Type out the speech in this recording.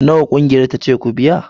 Nawa ƙungiyar ta ce ku biya